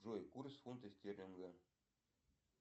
джой курс фунта стерлинга